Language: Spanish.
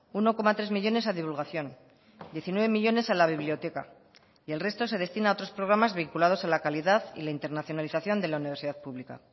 uno coma tres millónes a divulgación diecinueve millónes a la biblioteca y el resto se destina a otros programas vinculados a la calidad y la internacionalización de la universidad pública